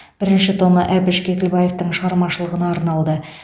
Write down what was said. бірінші томы әбіш кекілбаевтың шығармашылығына арналды